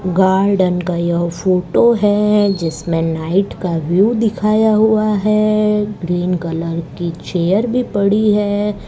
Garden का यह photo है जिसमें नाईट का व्यू दिखाया हुआ है ग्रीन कलर की चेयर भी पड़ी है।